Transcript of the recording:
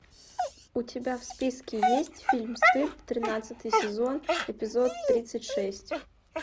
у тебя в списке есть фильм стыд тринадцатый сезон эпизод тридцать шесть